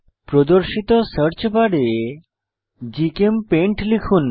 প্রদর্শিত সার্চ বারে জিচেমপেইন্ট লিখুন